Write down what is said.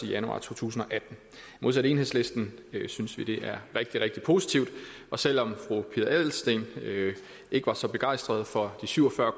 januar to tusind og atten modsat enhedslisten synes vi det er rigtig rigtig positivt og selv om fru pia adelsteen ikke var så begejstret for de syv og fyrre